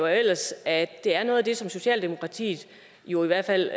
jeg ellers at det er noget som socialdemokratiet i hvert fald